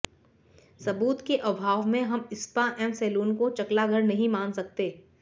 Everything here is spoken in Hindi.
सबूत के अभाव में हम स्पा एवं सैलून को चकला घर नहीं मान सकते